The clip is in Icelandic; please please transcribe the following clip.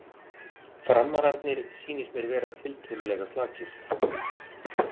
Framararnir sýnist mér vera tiltölulega sterkir.